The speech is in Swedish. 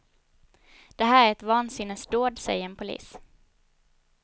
Det här är ett vansinnesdåd, säger en polis.